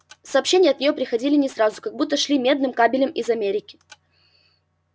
сообщения от нее приходили не сразу как будто шли медным кабелем из америки